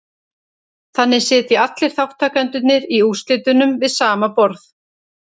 Þannig sitja allir þátttakendurnir í úrslitunum við sama borð.